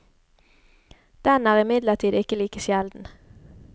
Den er imidlertid ikke like sjelden.